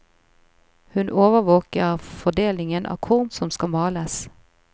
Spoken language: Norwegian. Hun overvåker fordelingen av korn som skal males.